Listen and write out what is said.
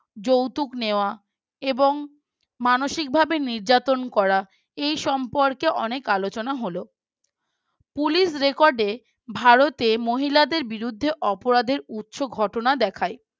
যৌতুক নেওয়া এবং মানসিকভাবে নির্যাতন করা এই সম্পর্কে অনেক আলোচনা হল Police Record এ ভারতে মহিলাদের বিরুদ্ধে অপরাধের উচ্চ ঘটনা দেখায়